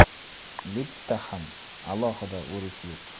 Bitta ham alohida o‘rik yo‘q.